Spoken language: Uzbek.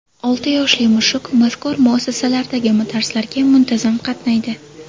Olti yoshli mushuk mazkur muassasalardagi darslarga muntazam qatnaydi.